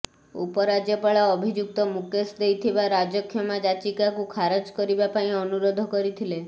ଉପରାଜ୍ୟପାଳ ଅଭିଯୁକ୍ତ ମୁକେଶ ଦେଇଥିବା ରାଜକ୍ଷମା ଯାଚିକାକୁ ଖାରଜ କରିବା ପାଇଁ ଅନୁରୋଧ କରିଥିଲେ